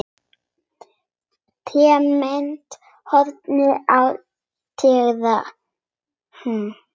Tæmist horn þá teygað er.